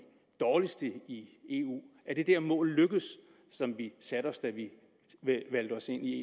dårligste i eu er det mål som vi satte os da vi meldte os ind i